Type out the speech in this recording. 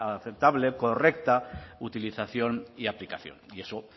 aceptable correcta utilización y aplicación y eso